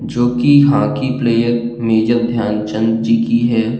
जोकि hockey player major Dhyan Chand ji की है।